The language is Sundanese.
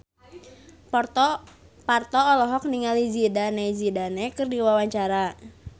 Parto olohok ningali Zidane Zidane keur diwawancara